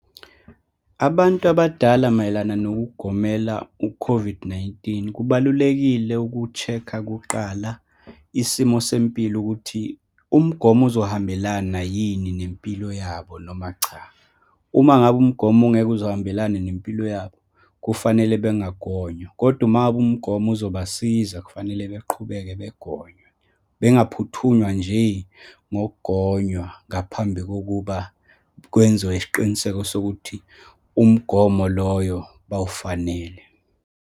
Abantu abadala mayelana nokugomela u-COVID-19, kubalulekile uku-check-a kuqala isimo sempilo, ukuthi umgomo uzohambelana yini nempilo yabo, noma cha. Uma ngabe umgomo ungeke uze uhambelani nempilo yabo, kufanele bengangonywa, kodwa uma ngabe umgomo uzobasiza, kufanele beqhubeke begonwe. Bengaphuthunywa nje ngokunywa ngaphambi kokuba kwenziwe isiqiniseko sokuthi umgomo loyo bawufanele.